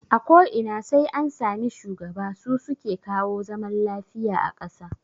A ko ina sai an sami shugaba, su suke kawo zaman lafiya a kasa